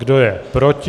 Kdo je proti?